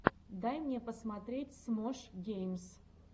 дай мне посмотреть смош геймс